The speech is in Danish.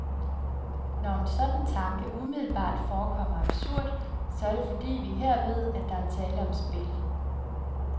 Når en sådan tanke umiddelbart forekommer absurd, så er det, fordi vi her ved, at der er tale om spil.